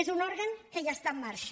és un òrgan que ja està en marxa